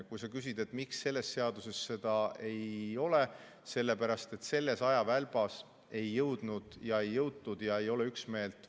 Kui sa küsid, miks selles seaduses seda ei ole, siis sellepärast, et selles ajavälbas ei jõutud ja lahenduse osas ei ole üksmeelt.